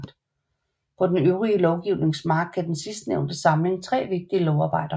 På den øvrige lovgivnings mark gav den sidstnævnte samling 3 vigtige lovarbejder